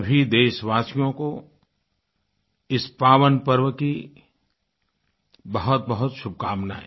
सभी देशवासियों को इस पावन पर्व की बहुतबहुत शुभकामनाएँ